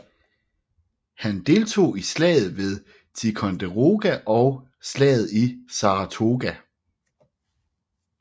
Han deltog i slaget ved Ticonderoga og slaget i Saratoga